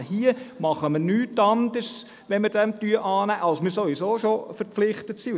Wenn wir diesen Vorstoss annehmen, tun wir nichts anderes als das, wozu wir sowieso schon verpflichtet sind.